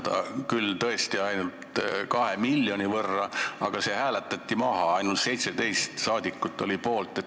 Ettepanek oli suurendada küll tõesti ainult 2 miljoni võrra, aga see hääletati maha, ainult 17 saadikut olid poolt.